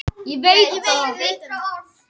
Að allir bara verða mig að sjá.